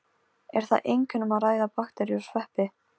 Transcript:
Er þar einkum um að ræða bakteríur og sveppi.